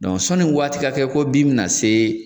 sɔnni waati ka kɛ ko bin mi na se.